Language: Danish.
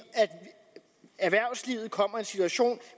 erhvervslivet kommer i en situation